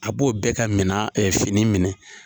A b'o bɛɛ ka mina ɛɛ fini minɛ